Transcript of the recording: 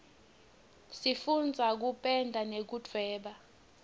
sifundza kupenda nekudvweba